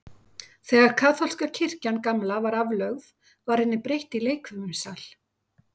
Þegar kaþólska kirkjan gamla var aflögð, var henni breytt í leikfimisal.